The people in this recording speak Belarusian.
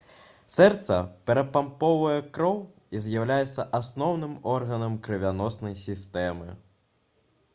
сэрца перапампоўвае кроў і з'яўляецца асноўным органам крывяноснай сістэмы